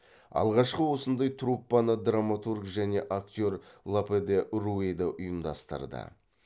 алғашқы осындай труппаны драматург және актер лопе де руэда ұйымдастырды